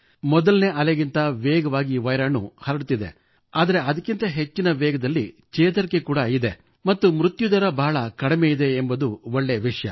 ಮೊದಲನೇ ಅಲೆಗಿಂತಲೂ ವೇಗವಾಗಿ ವೈರಾಣು ಹರಡುತ್ತಿದೆ ಆದರೆ ಅದಕ್ಕಿಂತ ಹೆಚ್ಚಿನ ವೇಗದಲ್ಲಿ ಚೇತರಿಕೆ ಇದೆ ಮತ್ತು ಮೃತ್ಯು ದರ ಬಹಳ ಕಡಿಮೆ ಇದೆ ಎಂಬುದು ಒಳ್ಳೆಯ ವಿಷಯ